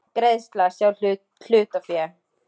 Greiðsla, sjá hlutafé